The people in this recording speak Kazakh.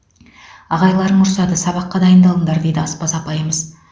ағайларың ұрсады сабаққа дайындалыңдар дейді аспаз апайымыз